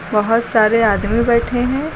बहुत सारे आदमी बैठे हैं।